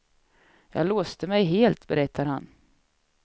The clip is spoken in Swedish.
Jag låste mig helt, berättar han.